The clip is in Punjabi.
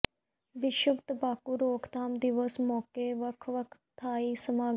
ਵਿਸ਼ਵ ਤੰਬਾਕੂ ਰੋਕਥਾਮ ਦਿਵਸ ਮੌਕੇ ਵੱਖ ਵੱਖ ਥਾਈਂ ਸਮਾਗਮ